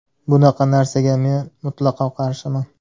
Bunaqa narsaga men mutlaqo qarshiman.